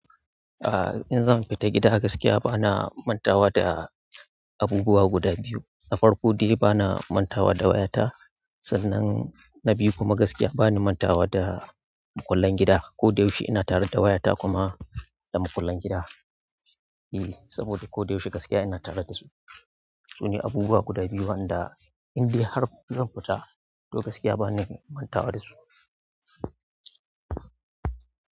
Ah in zan fita gida gaskiya bana mantawa da abubuwa guda biyu na farko dai bana mantawa da wayata, sannan na biyu kuma gaskiya bani mantawa da makullan gida. Ko da yaushe ina tare da wayata kuma da makullan gida. Eee, saboda ko da yaushe gaskiya ina tare da su. Su ne abubuwa guda biyu wanda inda har zan fita, to gaskiya ba ni mantawa da su.